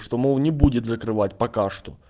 что молл не будет закрывать пока что